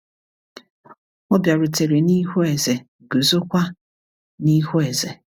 Ọ bịarutere n’ihu eze, guzo kwa n’ihu eze.